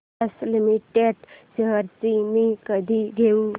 Bosch limited shares मी कधी घेऊ